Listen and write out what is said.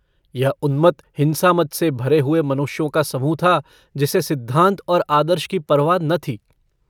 यह उन्मत्त हिंसामद से भरे हुए मनुष्यों का समूह था जिसे सिद्धान्त और आदर्श की परवाह न थी।